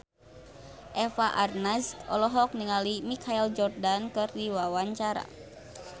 Eva Arnaz olohok ningali Michael Jordan keur diwawancara